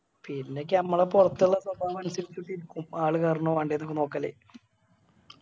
പിന്നെക്കെ അമ്മള പൊറത്തിള്ള സ്വഭാവം അനുസരിച്ചിട്ടിരിക്കും ആള് കേറണോ വേണ്ടിയോന്ന്ഒക്കെ നോക്കല്